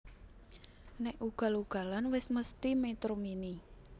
Nek ugal ugalan wes mesthi Metro Mini